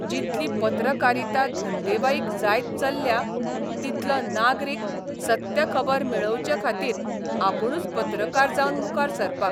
जितली पत्रकारिता धंदेवाईक जायत चल्ल्या तितलो नागरीक सत्य खबर मेळोवचे खातीर आपूणच पत्रकार जावन मुखार सरपाक